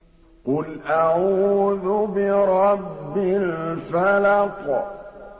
قُلْ أَعُوذُ بِرَبِّ الْفَلَقِ